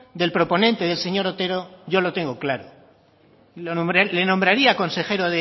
del proponente del señor otero yo lo tengo claro le nombraría consejero